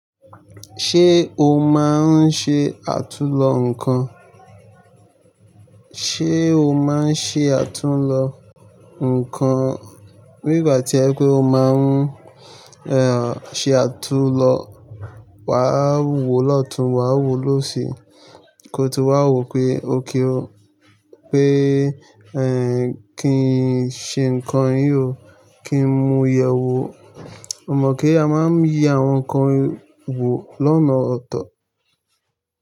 Ṣé o máa ń ṣe àtú lọ nǹkan? Ṣé o máa ń ṣe àtú lọ nǹkan? Nígbà tí ẹ pé o máa ń, ehn, ṣe àtú lọ, wa wò lọ́tùn, wa wò lósì, kó tu wa wò pé ó kí o, pé, ehn, kí n ṣe nǹkan yió, kí n mu yẹ̀wò. Mo mọ̀ pé a máa ń ye àwọn nǹkan wò lọ́nà ọ̀tọ̀